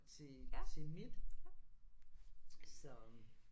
Til til mit så